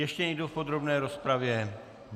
Ještě někdo v podrobné rozpravě?